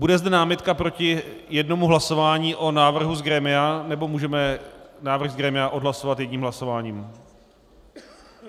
Bude zde námitka proti jednomu hlasování o návrhu z grémia, nebo můžeme návrh z grémia odhlasovat jedním hlasováním?